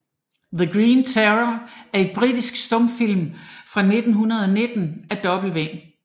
The Green Terror er en britisk stumfilm fra 1919 af W